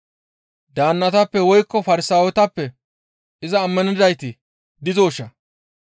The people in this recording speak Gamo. Daannatappe woykko Farsaawetappe iza ammanidayti dizooshaa?